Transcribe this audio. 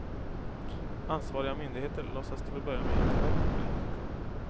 Ansvariga myndigheter låtsas till att börja med inte om problemet.